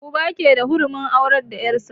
Uba ke da hurumin aurar da yar' sa.